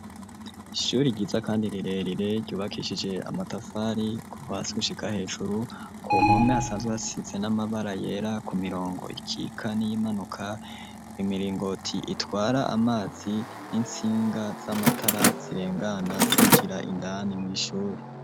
Ishure ryiza kandi rirerire ryubakishije amatafari kuva hasi gushika hejuru, ku mpome hasanzwe hasize n'amabara yera ku mirongo ikika n'iyimanuka, imiringoti itwara amazi n'intsinga z'amatara zirengana zinjira indani mw'ishure.